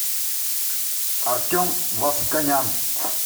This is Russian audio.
артем васканян